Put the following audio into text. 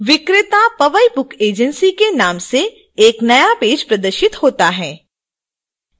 विक्रेता powai book agency के नाम से एक नया पेज प्रदर्शित होता है